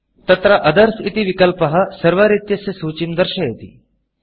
तत्र Othersअदर्स् इति विकल्पः Serverसर्वर् इत्यस्य सूचीं दर्शयति